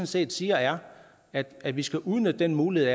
set siger er at vi skal udnytte den mulighed